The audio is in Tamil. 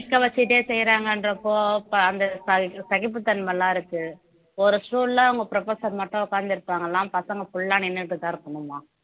நிக்க வச்சுட்டே செய்றாங்கன்றப்போ அந்த ச சகிப்புத்தன்மை எல்லாம் இருக்கு ஒரு stool ல அவங்க professor மட்டும் உட்கார்ந்து இருப்பாங்களாம் பசங்க full ஆ நின்னுட்டுதான் இருக்கணும்மா